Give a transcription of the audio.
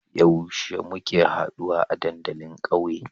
Yaushe muke haduwa a dandalin ƙauye?